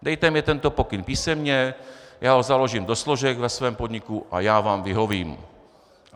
Dejte mně tento pokyn písemně, já ho založím do složek ve svém podniku a já vám vyhovím.